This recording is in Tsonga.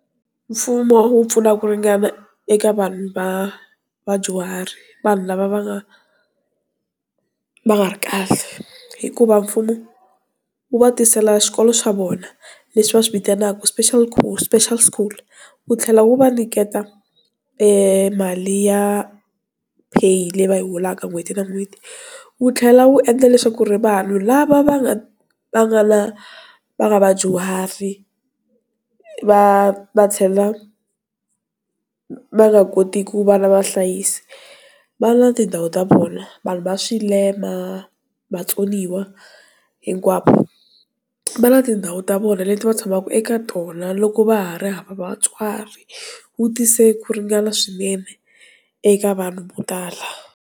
Mfumo wu pfuna ku ringana eka vanhu va vadyuhari vanhu lava va nga va nga ri kahle hikuva mfumo wu va tisela xikolo swa vona leswi va swivitanaka special cool special school wu tlhela wu va nyiketa mali ya pay leyi va holaka n'hweti na n'hweti, wu tlhela wu endla leswaku ri vanhu lava va nga va nga na va nga vadyuhari va va chela va nga kotiki ku vana vahlayisi vana tindhawu ta vona vanhu va swilema, vatsoniwa hinkwavo va na tindhawu ta vona leti va tshamaka eka tona loko va ha ri hava vatswari wu tise ku ringana swinene eka vanhu vo tala.